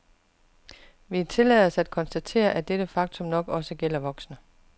Vi tillader os at konstatere, at dette faktum nok også gælder voksne.